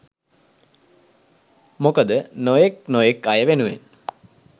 මොකද නොයෙක් නොයෙක් අය වෙනුවෙන්